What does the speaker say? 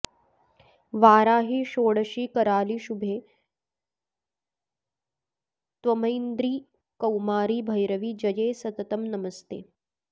वाराहि षोडशि करालि शुभे त्वमैन्द्री कौमारि भैरवि जये सततं नमस्ते